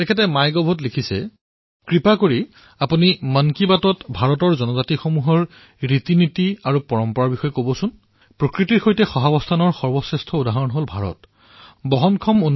তেওঁ মাই গভত লিখিছে অনুগ্ৰহ কৰি মন কী বাতত ভাৰতৰ জনজাতিসকলে কিদৰে তেওঁলোকৰ ৰীতিনীতি আৰু পৰম্পৰা প্ৰকৃতিৰ সৈতে অস্তিত্বৰ সৰ্বশ্ৰেষ্ঠ উদাহৰণ দিবলৈ সমৰ্থ হৈছে এই বিষয়ে যেন চৰ্চা কৰে